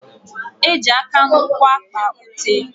Eji aka na ụkwụ akpa ute.